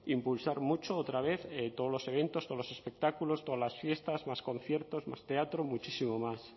impulsar mucho otra vez todos los eventos todos los espectáculos todas las fiestas más conciertos más teatro muchísimo más